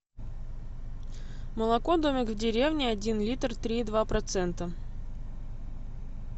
молоко домик в деревне один литр три и два процента